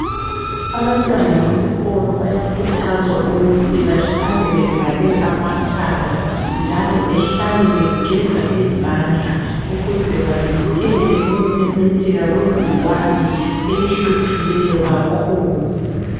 Abantwana besikolo bayakhuthazwa ukuthi bahlale bevale amakhala njalo behlale begeza izandla ukuze bavikele ukumemetheka kwegcikwane elihluphileyo kakhulu.